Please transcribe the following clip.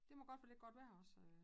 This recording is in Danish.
Det må godt være lidt godt vejr også øh